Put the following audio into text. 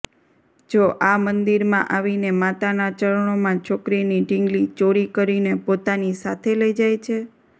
જો આ મંદિરમાં આવીને માતાના ચરણોમાં છોકરીની ઢીંગલી ચોરી કરીને પોતાની સાથે લઇ જાય છે